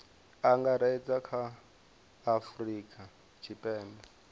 angaredza kha a afurika tshipembe